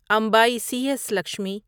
MBA C S Lakshmi